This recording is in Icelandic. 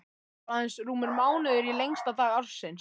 Það var aðeins rúmur mánuður í lengsta dag ársins.